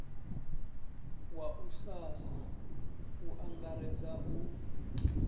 wa ussasa u angaredza u